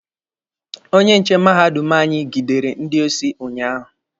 Onye nche mahadum anyị gidere ndị osi unyaahụ.